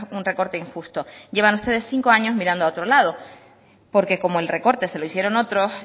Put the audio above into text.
un recorte injusto llevan ustedes cinco años mirando a otro lado porque como el recorte se lo hicieron otros